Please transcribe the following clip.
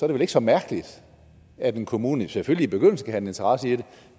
det vel ikke så mærkeligt at en kommune selvfølgelig i begyndelsen kan interesse i det